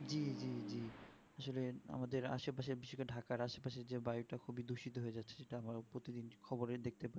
জি জি আসলে আমাদের আসে পশে বেশি করে ঢাকার আসে পশে যে বাড়িটা খুবই দূষিত হয়ে যাচ্ছে যেটা আমার প্রতিদিন খবরে দেখতে পাই